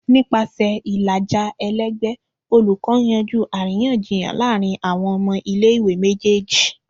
Nipasẹ ilaja ẹlẹgbẹ, olukọ n yanju ariyanjiyan laarin awọn ọmọ ile-iwe mejeeji.